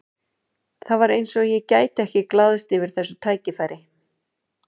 Það var eins og ég gæti ekki glaðst yfir þessu tækifæri.